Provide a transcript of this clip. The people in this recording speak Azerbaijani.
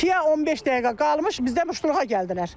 İkiyə 15 dəqiqə qalmış bizdən muştuluqa gəldilər.